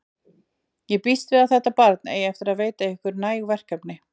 Ég býst við að þetta barn eigi eftir að veita ykkur næg verkefni.